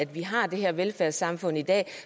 vi har det her velfærdssamfund i dag